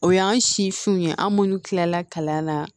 O y'an sifinw ye an minnu tila kalan na